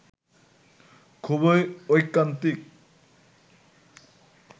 খুবই ঐকান্তিক